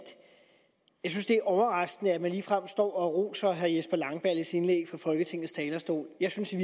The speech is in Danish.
jeg synes det er overraskende at man ligefrem står og roser herre jesper langballes indlæg fra folketingets talerstol jeg synes i